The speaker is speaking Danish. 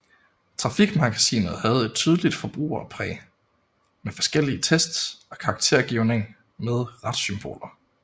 Trafikmagasinet havde et tydeligt forbrugerpræg med forskellige tests og karaktergivning med ratsymboler